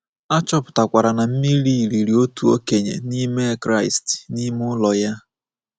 A chọpụtakwara na mmiri riri otu okenye n'ime Kraịst n’ime ụlọ ya.